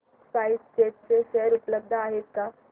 spice jet चे share उपलब्ध आहेत का